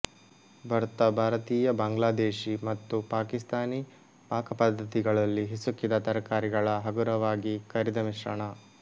ಭರ್ತಾ ಭಾರತೀಯ ಬಾಂಗ್ಲಾದೇಶಿ ಮತ್ತು ಪಾಕಿಸ್ತಾನಿ ಪಾಕಪದ್ಧತಿಗಳಲ್ಲಿ ಹಿಸುಕಿದ ತರಕಾರಿಗಳ ಹಗುರವಾಗಿ ಕರಿದ ಮಿಶ್ರಣ